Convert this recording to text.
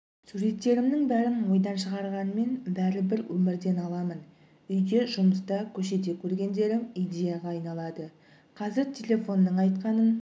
суреттерімнің бәрін ойдан шығарғанмен бәрібір өмірден аламын үйде жұмыста көшеде көргендерім идеяға айналады қазір телефонның айтқанын